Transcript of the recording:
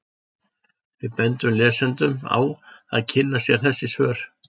Við bendum lesendum á að kynna sér þessi svör.